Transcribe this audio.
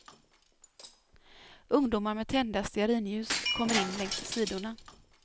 Ungdomar med tända stearinljus kommer in längs sidorna.